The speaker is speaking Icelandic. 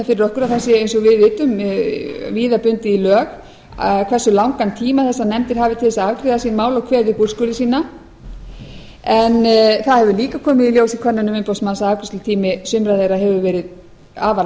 sé eins og við vitum viða bundið í lög hversu langan tíma þessar nefndir hafi til þess að afgreiða sín mál og kveða upp úrskurði sína en það hefur líka komið í ljós í könnunum umboðsmanns að afgreiðslutími sumra þeirra hefur verið afar